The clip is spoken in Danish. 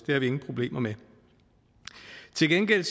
har vi ingen problemer med til gengæld